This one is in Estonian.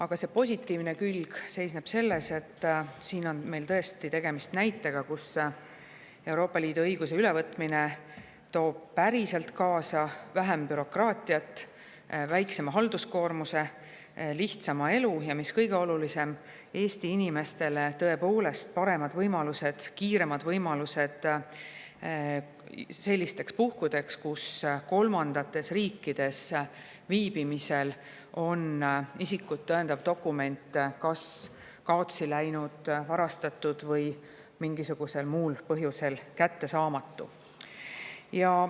Eelnõu positiivne külg seisneb selles, et siin on meil tõesti tegemist näitega, kus Euroopa Liidu õiguse ülevõtmine toob päriselt kaasa väiksema bürokraatia, väiksema halduskoormuse, lihtsama elu, ja mis kõige olulisem, Eesti inimestele tõepoolest paremad võimalused, kiiremad lahendused sellisteks puhkudeks, kus mõnes kolmandas riigis viibimisel on isikut tõendav dokument kas kaotsi läinud, varastatud või mingisugusel muul põhjusel kättesaamatu.